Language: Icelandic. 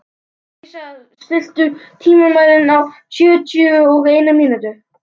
Elísa, stilltu tímamælinn á sjötíu og eina mínútur.